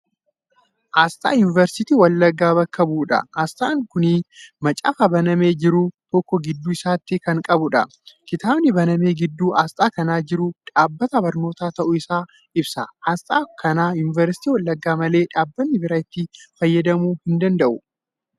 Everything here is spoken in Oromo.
Aasxaa yuunivarsiitii Wallaggaa bakka bu'uudha. aasxaan Kuni macaafa banamee jiru tokko gidduu isaatti Kan qabudha. kitaabnii banamee gidduu aasxaa kanaa jiru dhaabbatan barnootaa ta'uu Isaa ibsa. aasxaa kana yuunivarsiitii Wallaggaa malee dhaabbanni biraa itti fayyadamuu hin danda'u.